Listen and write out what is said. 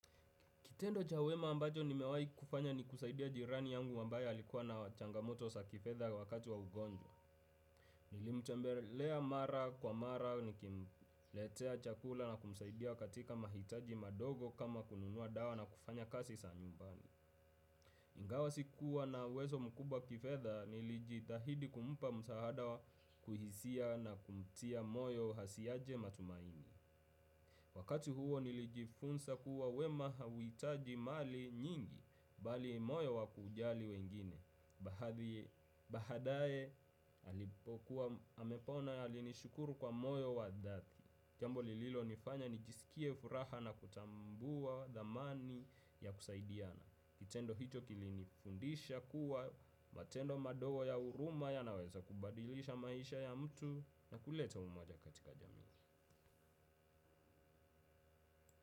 Kitendo cha wema ambacho nimewai kufanya ni kusaidia jirani yangu ambaye likuwa na changamoto sa kifedha wakati wa ugonjwa. Nilimtembelea mara kwa mara nikimletea chakula na kumsaidia katika mahitaji madogo kama kununua dawa na kufanya kasi sa nyumbani. Ingawa sikuwa na uwezo mkubwa kifedha nilijitahidi kumupa msaada wa kuhisia na kumtia moyo hasiaje matumaini. Wakati huo nilijifunsa kuwa wema hauhitaji mali nyingi, bali moyo wa kujali wengine, bahadaye alipokuwa amepona alinishukuru kwa moyo wa dhati. Jambo lililonifanya nijisikie furaha na kutambua dhamani ya kusaidiana. Kitendo hicho kilinifundisha kuwa matendo madogo ya uruma yanaweza kubadilisha maisha ya mtu na kuleta umoja katika jamii.